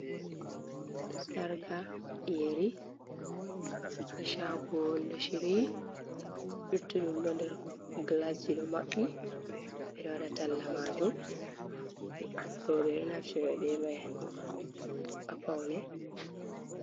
Sarga yeri ha chago, ɗon shiri luttudum ɗon nder gilasji ɗon maɓɓi, beɗo waɗa talla majum, rewɓe ɗon naftira be mai ngam paune.